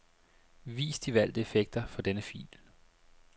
Vis de valgte effekter for denne fil.